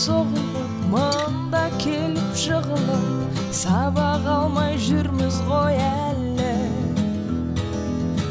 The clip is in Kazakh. соғылып мында келіп жығылып сабақ алмай жүрміз ғой әлі